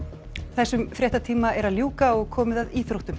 þessum fréttatíma er að ljúka og komið að íþróttum